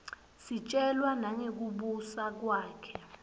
sitjelwa nangekubusa kwakhe